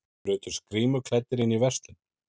Brutust grímuklæddir inn í verslun